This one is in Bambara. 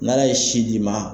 N'a Ala ye si di maa ma